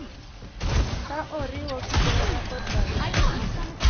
Ka oriwo Kibera kod Mathare,